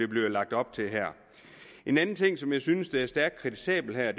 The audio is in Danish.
bliver lagt op til her en anden ting som jeg synes er stærkt kritisabelt her